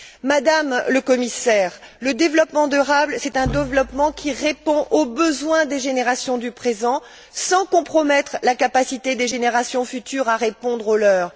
Madame le Commissaire, le développement durable est un développement qui répond aux besoins des générations du présent, sans compromettre la capacité des générations futures à répondre aux leurs.